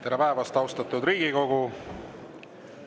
Tere päevast, austatud Riigikogu!